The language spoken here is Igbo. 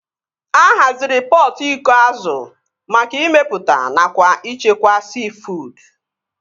A haziri pọtụ iko azụ maka ịmepụta nakwa ịchekwa siifuud